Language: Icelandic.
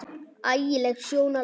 Ægi leg sjón alveg.